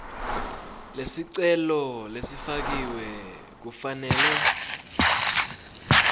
lesicelo lesifakiwe kufanele